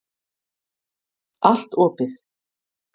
Allt opið.